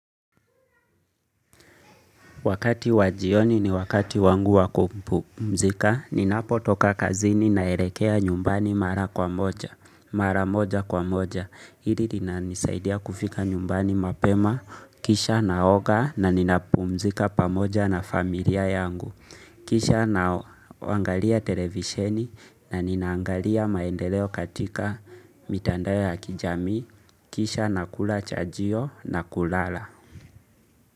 Wakati wajioni ni wakati wangu wakumpu mzika, ninapo toka kazini na elekea nyumbani mara kwa moja, mara moja kwa moja. Hili lina nisaidia kufika nyumbani mapema, kisha na oga na ninapu mzika pamoja na familia yangu. Kisha na waangalia televisheni na ninaangalia maendeleo katika mitandaya ya kijami, kisha na kula chajio na kulala.